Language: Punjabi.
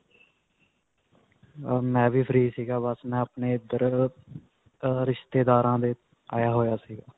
ਅਅ ਮੈਂ ਵੀ free ਸੀ, ਬਸ ਮੈਂ ਆਪਣੇ ਇੱਧਰ ਅਅ ਅਅ ਰਿਸ਼ਤੇਦਾਰਾਂ ਦੇ ਆਇਆ ਹੋਇਆ ਸੀ.